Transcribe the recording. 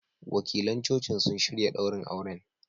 Wakilan Cocin sun shirya ɗaurin auren.